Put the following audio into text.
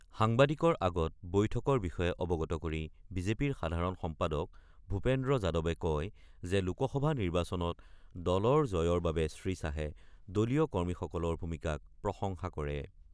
সাংবাদিকৰ আগত বৈঠকৰ বিষয়ে অবগত কৰি বিজেপিৰ সাধাৰণ সম্পাদক ভূপেন্দ্ৰ যাদৱে কয় যে লোকসভা নিৰ্বাচনত দলৰ জয়ৰ বাবে শ্ৰীশ্বাহে দলীয় কৰ্মীসকলৰ ভূমিকাক প্ৰসংশা কৰে।